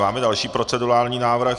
Máme další procedurální návrh.